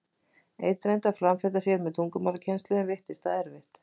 Einn reyndi að framfleyta sér með tungumálakennslu, en veittist það erfitt.